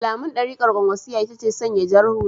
Alamun darikar kwankwasiyya ita ce sanya jar hula.